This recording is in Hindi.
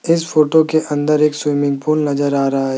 इस फोटो के अंदर एक स्विमिंग पूल नजर आ रहा--